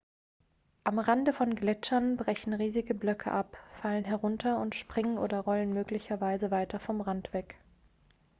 am rande von gletschern brechen riesige blöcke ab fallen herunter und springen oder rollen möglicherweise weiter vom rand weg